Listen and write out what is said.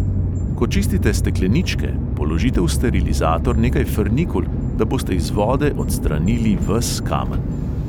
Ko čistite stekleničke, položite v sterilizator nekaj frnikul, da boste iz vode odstranili ves kamen.